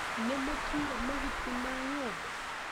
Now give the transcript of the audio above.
Nĩ mũtuire mahuti ma ng'ombe?